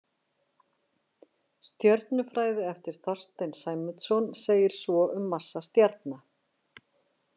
Stjörnufræði eftir Þorstein Sæmundsson segir svo um massa stjarna